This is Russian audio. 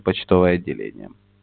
почтовое отделение